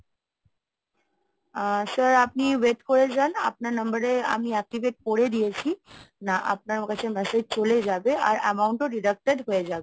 আ sir আপনি wait করে যান। আপনার number এ আমি activate করে দিয়েছি আপনার আমার কাছে message চলে যাবে আর amount ও deducted হয়ে যাবে।